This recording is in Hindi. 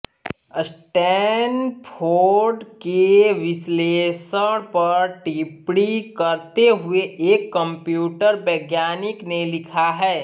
स्टैनफोर्ड के विश्लेषण पर टिप्पणी करते हुए एक कंप्यूटर वैज्ञानिक ने लिखा है